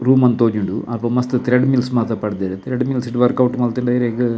Room ಅಂದ್ ತೋಜುಂಡು ಅಲ್ಪ ಮಸ್ತ್ ಥ್ರೆಡ್ ಮಿಲ್ಲ್ಸ್ ಮಾತ ಪಾಡ್ದೆರ್ ಥ್ರೆಡ್ ಮಿಲ್ಲ್ಸ್ ಡು ವರ್ಕೌಟ್ ಮಲ್ತುಂಡ ಇರೆಗ್.